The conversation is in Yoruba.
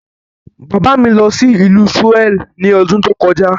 Bàbá mi lọ sí ìlú Souel ní ọdún tó kọjá.